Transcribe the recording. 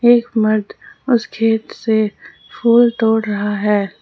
एक मर्द उस खेत से फूल तोड़ रहा है।